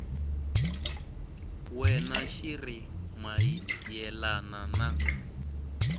wena xi ri mayelana na